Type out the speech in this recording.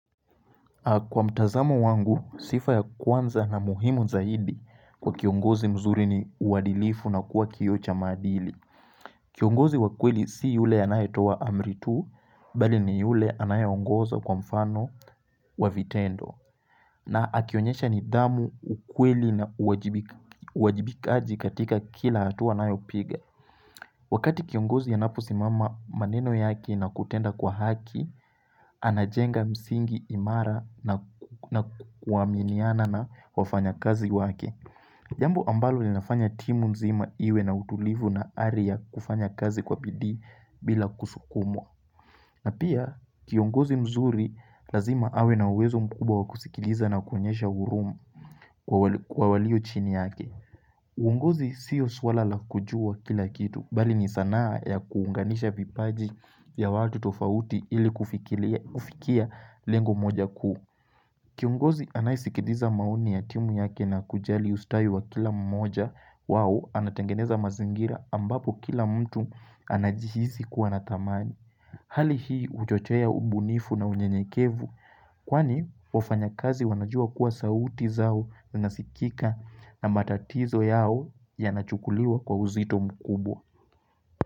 Kwa mtazamo wangu, sifa ya kwanza na muhimu zaidi kwa kiongozi mzuri ni uadilifu na kuwa kioo cha madili. Kiongozi wa kweli si yule anayetoa amri tu, bali ni yule anayeongoza kwa mfano wa vitendo. Na akionyesha nidhamu, ukweli na uwajibikaji katika kila hatua anayopiga. Wakati kiongozi anapo simama maneno yake na kutenda kwa haki, anajenga msingi imara na kuaminiana na wafanyakazi wake. Jambo ambalo li nafanya timu mzima iwe na utulivu na ari ya kufanya kazi kwa bidii bila kusukumwa. Na pia kiongozi mzuri lazima awe na uwezo mkubwa wa kusikiliza na kuonyesha uhurumu kwa walio chini yake. Uongozi siyo swala la kujua kila kitu bali ni sanaa ya kuunganisha vipaji vya watu tofauti ili kufikia lengo moja kuu. Kiongozi anayesikiliza maoni ya timu yake na kujali ustawi wa kila mmoja wao anatengeneza mazingira ambapo kila mtu anajihisi kuwa na thamani. Hali hii uchochea ubunifu na unyenyekevu kwani wafanyakazi wanajua kuwa sauti zao nasikika na matatizo yao yanachukuliwa kwa uzito mkubwa.